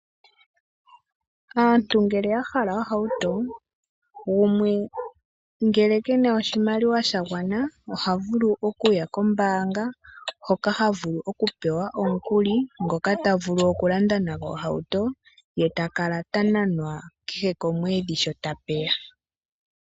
Aantu ngele yahala ohouto , ngumwe ngele kena oshimaliwa shangwana ohavulu okuya kombanga hoka havulu oku pewa omukuli ngoka tavulu okulanda nango ohouto ye takala tananwa kehe komwedhi sho tayeya.